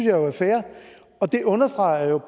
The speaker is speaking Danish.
jo er fair og det understreger